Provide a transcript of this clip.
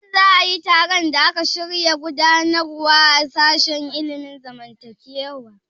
Shin za a yi taron da aka shirya gudanarwa a sashen ilimin zamantakewa?